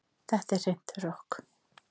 Þetta er hreint rokk